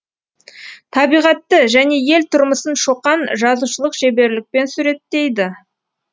табиғатты және ел тұрмысын шоқан жазушылық шеберлікпен суреттейді